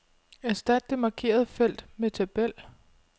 Erstat det markerede felt med tabel.